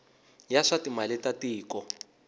ya swa timali ta tiko